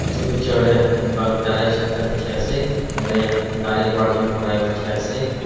etu picture teh ga garage ekta dikhi ase tah teh gari parking kora dikhe ase.